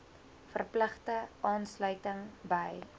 verpligte aansluiting by